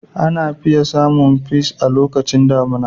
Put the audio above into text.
Ana fiye samun peas a lokacin damuna.